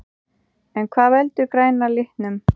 En hvað veldur græna litnum?